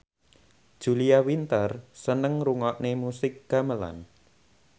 Julia Winter seneng ngrungokne musik gamelan